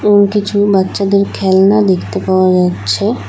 এবং কিছু বাচ্চাদের খেলনা দেখতে পাওয়া যাচ্ছে।